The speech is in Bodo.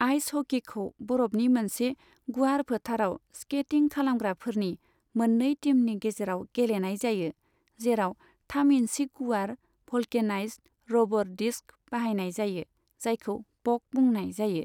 आइस हकीखौ बरफनि मोनसे गुवार फोथाराव स्केटिं खालामग्राफोरनि मोननै टीमनि गेजेराव गेलेनाय जायो, जेराव थाम इन्सि गुवार भल्केनाइज्ड रबर डिस्क बाहायनाय जायो जायखौ पक बुंनाय जायो।